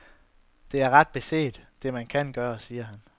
Det er ret beset det, man kan gøre, siger han.